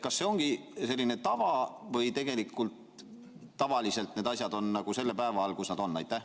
Kas see ongi selline tava või tegelikult tavaliselt need asjad on selle päeva all, kus nad on?